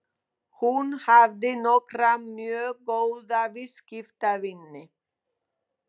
Hún hafði nokkra mjög góða viðskiptavini.